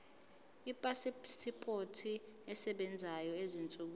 ipasipoti esebenzayo ezinsukwini